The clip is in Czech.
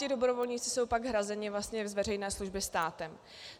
Ti dobrovolníci jsou pak hrazeni vlastně z veřejné služby státem.